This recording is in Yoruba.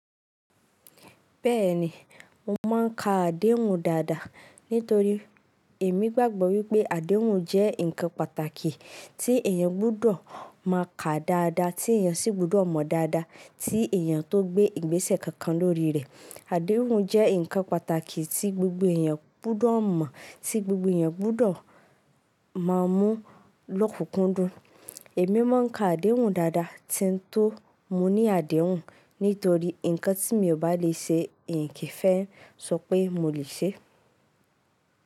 Bẹ́ẹ̀ni, mo máa ń ka àdéhùn dáadáa nítorí èmi gbàgbọ́ wípé àdéhùn jẹ́ ǹkan pàtàkì tí èèyàn gbọ́dọ̀ máa ka dáadáa, tí èèyàn sì gbọ́dọ̀ mọ dáadáa, tí èèyàn tó gbé ìgbésẹ̀ kankan lórí rẹ̀. Àdéhùn jẹ́ ǹkan pàtàkì tí gbogbo èèyàn gbọ́dọ̀ mọ̀, tí gbogbo èèyàn gbọ́dọ̀ máa mú lọkun kún dún. Èmi máa ń ka àdéhùn dáadáa tí n tó mú ní àdéhùn nítorí ǹkan tí mi ò bá lè ṣe, n kì í fẹ́ ṣọ pé mo lè ṣe.